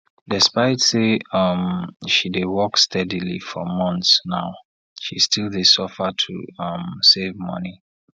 despite say um she dey work steadily for months now she still dey suffer to um save money